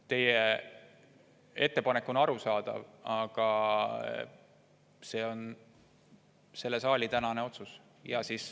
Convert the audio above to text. Teie ettepanek on arusaadav, aga see on selle saali tänane otsus.